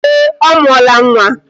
Ee, ọ mụọla nwa